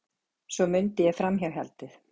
Svo mundi ég framhjáhaldið.